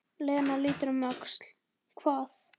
Lena lítur um öxl: Hvað?